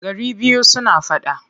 Gari biyu suna faɗa.